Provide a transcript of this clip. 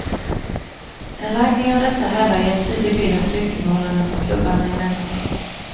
En ranking av dessa herrar, ger en tydlig bild av styrkeförhållandet klubbarna emellan.